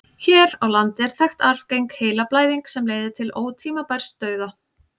hér á landi er þekkt arfgeng heilablæðing sem leiðir til ótímabærs dauða